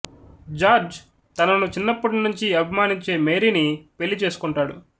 George తనను చిన్నప్పటి నుంచి అభిమానించే మేరీని పెళ్ళి చేసుకొంటాడు